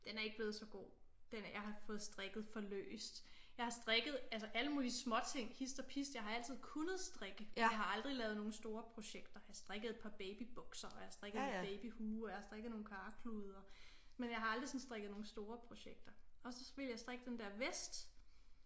Den er ikke blevet så god den jeg har fået strikket for løst jeg har strikket altså alle mulige småting hist og pist jeg har altid kunnet strikke jeg har aldrig lavet nogle store projekter jeg har strikket et par babybukser og jeg har strikket en babyhue og jeg har strikket nogle karklude og men jeg har aldrig sådan strikket nogle store projekter og så ville jeg strikke den der vest